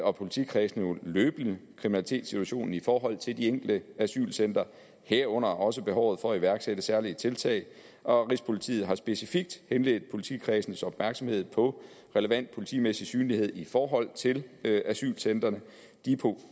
og politikredsene jo løbende kriminalitetssituationen i forhold til de enkelte asylcentre herunder også behovet for at iværksætte særlige tiltag og rigspolitiet her specifikt henledt politikredsenes opmærksomhed på relevant politimæssig synlighed i forhold til til asylcentrene de